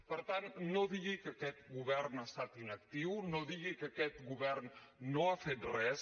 per tant no digui que aquest govern ha estat inactiu no digui que aquest govern no ha fet res